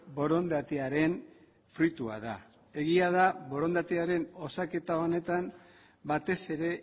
borondatearen fruitua da egia da borondatearen osaketa honetan batez ere